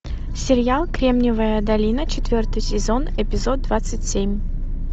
сериал кремниевая долина четвертый сезон эпизод двадцать семь